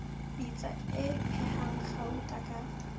pitsa e phehang gauta ka